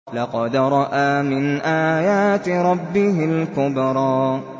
لَقَدْ رَأَىٰ مِنْ آيَاتِ رَبِّهِ الْكُبْرَىٰ